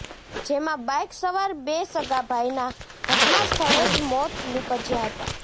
જેમાં બાઈકસવાર બે સગા ભાઈનાં ઘટનાસ્થળે જ મોત નિપજ્યાં હતાં